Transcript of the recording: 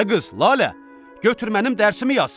Ay qız LəLə, götür mənim dərsimi yaz.